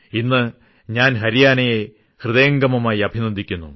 ഇന്ന് ഞാൻ ഹരിയാനയെ ഹൃദയംഗമമായി അഭിനന്ദിക്കുന്നു